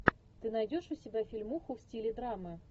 ты найдешь у себя фильмуху в стиле драмы